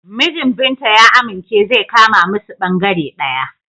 Mijin Binta ya amince zai kama musu bangare ɗaya.